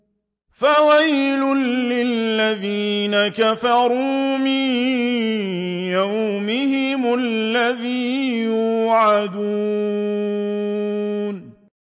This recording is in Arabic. فَوَيْلٌ لِّلَّذِينَ كَفَرُوا مِن يَوْمِهِمُ الَّذِي يُوعَدُونَ